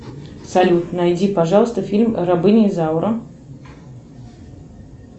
салют найди пожалуйста фильм рабыня изаура